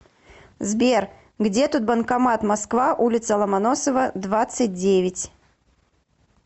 сбер где тут банкомат москва улица ломоносова двадцать девять